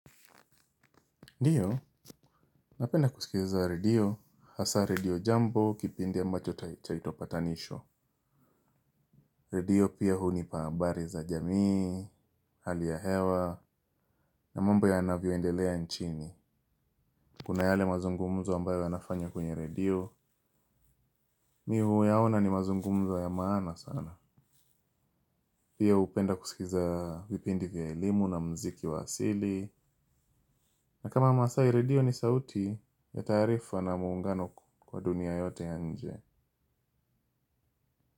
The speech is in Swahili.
Ndio, napenda kusikiza redio, hasa redio jambo kipindi ambacho chaitwa patanisho. Redio pia hunipa habari za jamii, hali ya hewa, na mambo yaanavyoendelea nchini. Kuna yale mazungumzo ambayo yanafanywa kwenye redio, mimi huyaona ni mazungumzo ya maana sana. Pia hupenda kusikiza vipindi vya elimu na mziki wa asili. Na kama maasai, redio ni sauti ya taarifa na muungano kwa dunia yote ya nje.